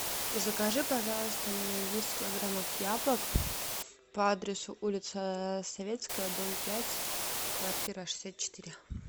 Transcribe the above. закажи пожалуйста мне десять килограммов яблок по адресу улица советская дом пять квартира шестьдесят четыре